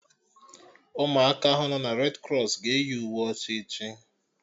Ụmụ aka ahụ nọ redi krọs ga-eyi uwe ọcha echi